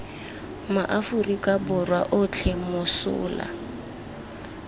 ma aforika borwa otlhe mosola